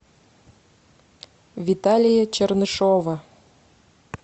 виталия чернышова